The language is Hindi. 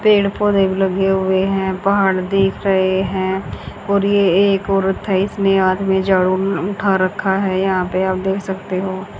पेड़ पौधे भी लगे हुए है पहाड़ दिख रहे है और ये एक औरत है इसमें हाथ में जड़ों म उठा रखा है यहां पे आप देख सकते हो।